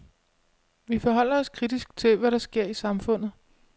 Vi forholder os kritisk til, hvad der sker i samfundet.